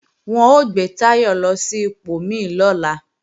Wọn ó gbé Táyọ̀ lọ sí ipò mí lọ́la